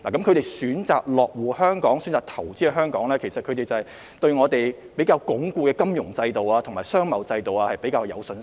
他們選擇落戶、投資香港的原因是對香港鞏固的金融制度和商貿制度有信心。